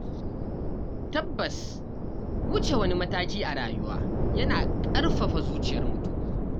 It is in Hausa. Tabbas Wuce wani mataki a rayuwa yana ƙarfafa zuciyar mutum.